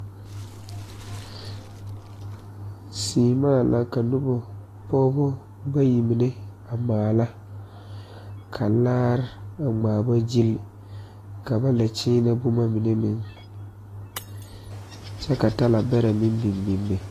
Seemaa la ka nobɔ pɔge bayi mine a maala ka laare a ŋmaa ba gyili ka ba la nyeenɛ boma mine meŋ kyɛ ka talabɛrɛ meŋ biŋ biŋ be.